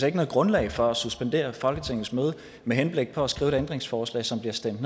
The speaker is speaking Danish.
ikke noget grundlag for at suspendere folketingets møde med henblik på at skrive et ændringsforslag som bliver stemt